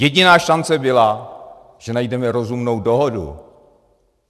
Jediná šance byla, že najdeme rozumnou dohodu.